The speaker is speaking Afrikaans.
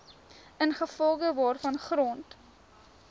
ingevolge waarvan grond